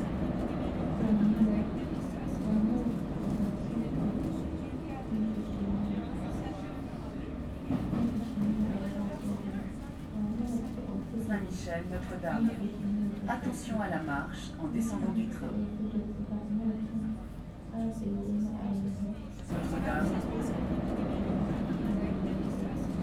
Waa malab, waa malabka oo laga sodurey mesha shinidha mishi shinidha aya laga soduray waa malabka oo kujiro mesha shinidha gashatey ee kujirto malabkan aad ayu umacan yahay waa shey aad u qima badan ona dawa eh.